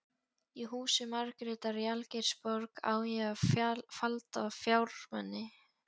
Í húsi Margrétar í Algeirsborg á ég falda fjármuni.